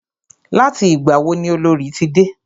Láti ìgbà wo ni Olorì ti dé?